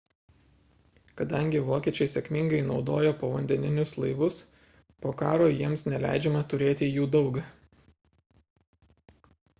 kadangi vokiečiai sėkmingai naudojo povandeninius laivus po karo jiems neleidžiama turėti jų daug